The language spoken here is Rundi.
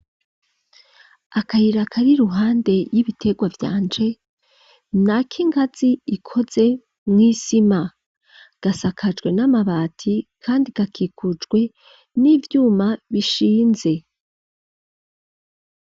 Akayira, kari iruhande, y'ibiterwa vyanje, ni ak'ingazi, ikoze mw'isima; gasakajwe n'amabati, kandi gakikujwe, n'ivyuma, bishinze.